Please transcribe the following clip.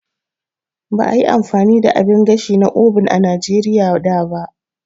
Ba a yi amfani da abin gashi na oven a Najeriya da ba.